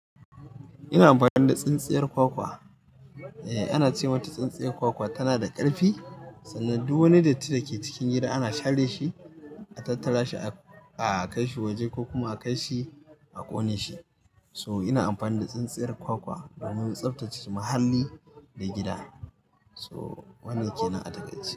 Ina amfani da tsintsiyar kwakwa. Eh ana ce mata tsintsiyar kwakwa tana da ƙarfi, sannan duk wani datti da ke cikin gida ana share shi, a tattara shi a kai shi waje ko kuma a kai shi a ƙone shi. So ina amfani da tsintsiyar kwakwa domin tsaftace muhalli da gida. So wannan ke nan a taƙaice.